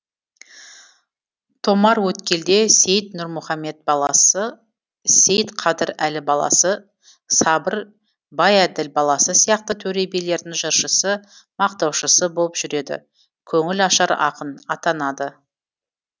томарөткелде сейіт нурмұхамет баласы сейітқадыр әлі баласы сабыр байәділ баласы сияқты төре билердің жыршысы мақтаушысы болып жүреді көңілашар ақын атанады